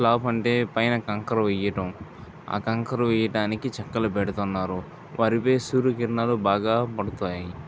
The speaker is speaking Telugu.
స్లాబ్ అంటే పైన కంకర వేయడం. ఆ కకరు వేయడానికి చెక్కలు పెడుతున్నారు వాటిపై సూర్యకిరణాలు బాగా పడతాయి.